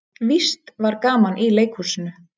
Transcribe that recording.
Víst var gaman í leikhúsinu.